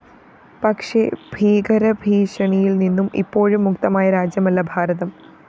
പക്ഷേ ഭീകരഭീഷണിയില്‍നിന്നും ഇപ്പോഴും മുക്തമായ രാജ്യമല്ല ഭാരതം